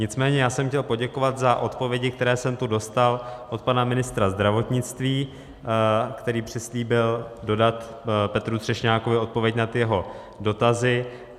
Nicméně já jsem chtěl poděkovat za odpovědi, které jsem tu dostal od pana ministra zdravotnictví, který přislíbil dodat Petru Třešňákovi odpověď na ty jeho dotazy.